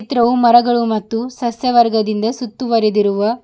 ಚಿತ್ರವು ಮರಗಳು ಮತ್ತು ಸಸ್ಯವರ್ಗದಿಂದ ಸುತ್ತುವರಿದಿರುವ--